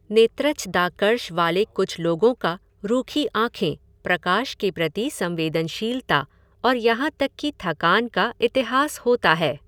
नेत्रच्छदाकर्ष वाले कुछ लोगों का रूखी आँखें, प्रकाश के प्रति संवेदनशीलता और यहाँ तक कि थकान का इतिहास होता है।